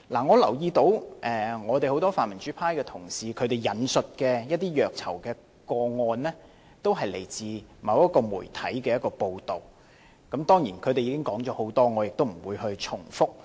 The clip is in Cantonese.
我留意到很多泛民主派同事引述的一些虐囚個案，都是來自某個媒體的報道，當然，他們已經說了很多，我亦不會重複。